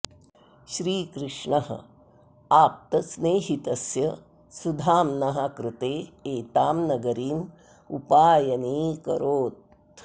श्री कृष्णः आप्तस्नेहितस्य सुधाम्नः कृते एतां नगरीम् उपायनीकरोत्